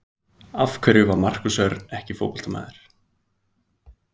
Af hverju var Markús Örn ekki fótboltamaður?